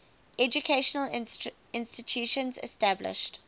educational institutions established